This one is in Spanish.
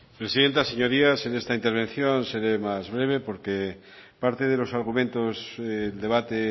presidenta señorías en esta intervención seré más breve porque parte de los argumentos del debate